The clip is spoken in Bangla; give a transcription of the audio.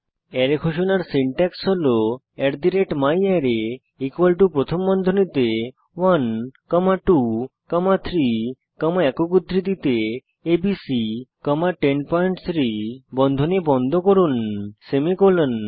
অ্যারের ঘোষণার সিনট্যাক্স হল myArray প্রথম বন্ধনীতে 1 কমা 2 কমা 3 কমা একক উদ্ধৃতিতে এবিসি কমা 103 বন্ধনী বন্ধ করুন সেমিকোলন